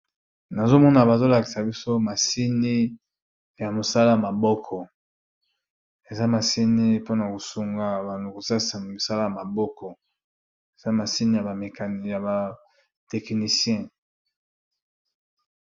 Nazomona bazo lakisa biso machine ya mosala ya maboko eza machine pona kusunga kosalisa bato ya mosala ya maboko eza machine ya ba techniciens